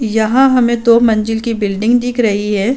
यहाँ हमे दो मंजिल की बिल्डिग दिख रही है।